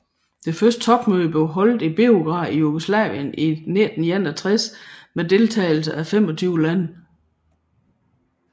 Det første topmøde blev holdt i Beograd i Jugoslavien i 1961 med deltagelse af 25 lande